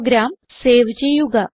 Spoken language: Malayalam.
പ്രോഗ്രാം സേവ് ചെയ്യുക